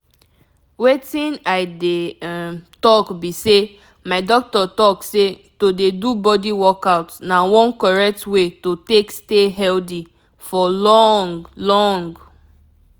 wetin i dey um talk be say my doctor talk say to dey do body workout na one correct way to take stay healthy for long. long.